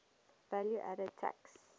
value added tax